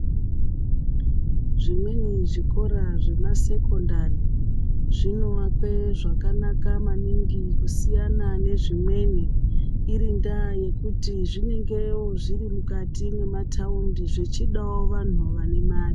Zvimweni zvikora zvemasekondari zvinoakwe zvakanaka maningi kusiyana nezvimweni iri ndaa yekuti zvinenge zviri mukati memataundi zvichidawo vantu vane mari.